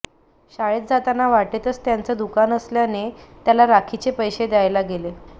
शाळेत जातांना वाटेतच त्याचं दुकान असल्याने त्याला राखीचे पैसे द्यायला गेले